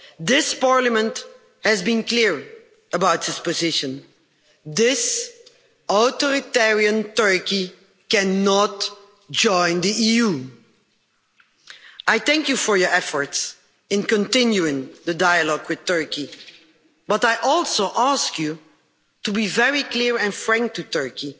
This Parliament has been clear about its position. This authoritarian Turkey cannot join the EU. I thank you for your efforts in continuing the dialogue with Turkey but I also ask you to be very clear and frank with Turkey